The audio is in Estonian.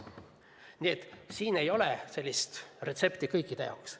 Nii et siin ei ole sellist retsepti kõikide jaoks.